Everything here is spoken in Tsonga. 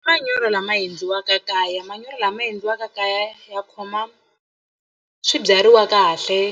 I manyoro lama endliwaka kaya manyoro lama endliwaka kaya ya khoma swibyariwa kahle